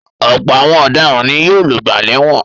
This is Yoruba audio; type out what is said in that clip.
Ọ̀pọ̀ àwọn ọ̀daràn ni yóò lògbà lẹ́wọ̀n.